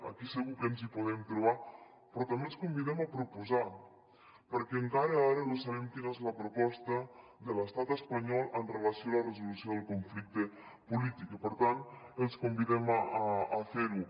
aquí segur que ens hi podem trobar però també els convidem a proposar perquè encara ara no sabem quina és la proposta de l’estat espanyol amb relació a la resolució del conflicte polític i per tant els convidem a fer ho